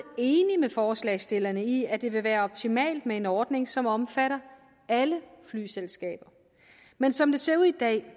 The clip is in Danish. enig med forslagsstillerne i at det vil være optimalt med en ordning som omfatter alle flyselskaber men som det ser ud i dag